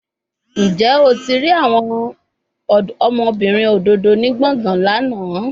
Njẹ o ti rii awọn ọmọbirin ododo ni gbọngan lana?